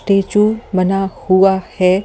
Statue बना हुआ है।